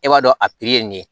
E b'a dɔn a ye nin ye